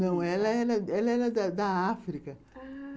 Não, ela era ela era da África. Ah...